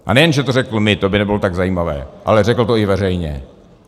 A nejen že to řekl mně, to by nebylo tak zajímavé, ale řekl to i veřejně.